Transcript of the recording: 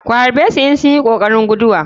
Ku harɓesu in sunyi kokarin guduwa.